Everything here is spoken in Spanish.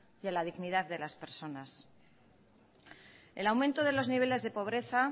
y a la dignidad de las personas el aumento de los niveles de pobreza